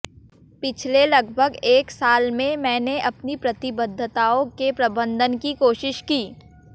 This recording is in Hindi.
पिछले लगभग एक साल में मैंने अपनी प्रतिबद्धताओं के प्रबंधन की कोशिश की